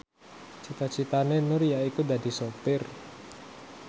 cita citane Nur yaiku dadi sopir